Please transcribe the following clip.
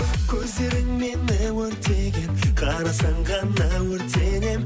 көздерің мені өртеген қарасаң ғана өртенемін